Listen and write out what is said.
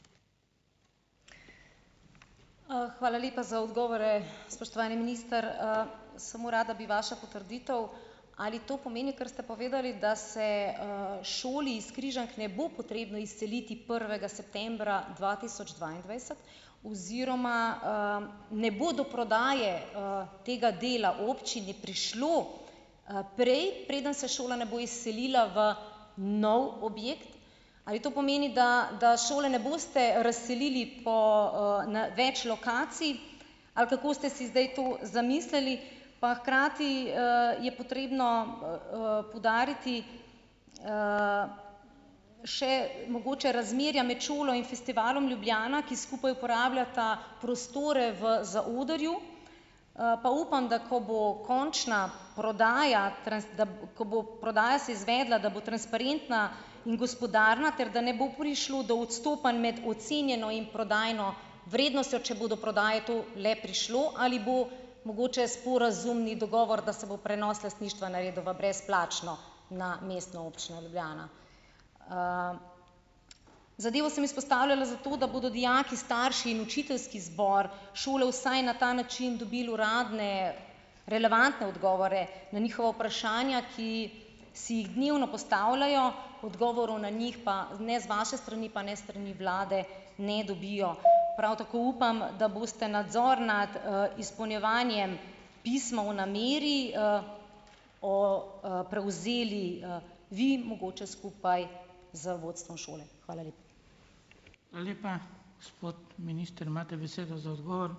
Hvala lepa za odgovore, spoštovani minister! Samo rada bi vaša potrditev. Ali to pomeni, kar ste povedali, da se, šoli iz Križank ne bo potrebno izseliti septembra dva tisoč dvaindvajset oziroma, ne bo do prodaje, tega dela občini prišlo, prej, preden se šola ne bo izselila v nov objekt. Ali to pomeni, da da šole ne boste razselili po, na več lokacij, ali kako ste si zdaj to zamislili? Pa hkrati, je potrebno, poudariti še mogoče razmerja med šolo in Festivalom Ljubljana, ki skupaj uporabljata prostore v zaodrju. Pa upam, da ko bo končna prodaja, prodaja se izvedla, da bo transparentna in gospodarna, ter da ne bo prišlo do odstopanj med ocenjeno in prodajno vrednostjo, če bo do prodaje to le prišlo. Ali bo mogoč sporazumni dogovor, da se bo prenos lastništva naredil v brezplačno na Mestno občino Ljubljana? Zadevo sem izpostavljala zato, da bodo dijaki, starši in učiteljski zbor šole vsaj na ta način dobil uradne relevantne odgovore na njihova vprašanja, ki si jih dnevno postavljajo, odgovorov na njih pa ne z vaše strani pa ne s strani vlade ne dobijo. Prav tako upam, da boste nadzor nad, izpolnjevanjem pisma o nameri, o, prevzeli, vi, mogoče skupaj z vodstvom šole. Hvala lepa.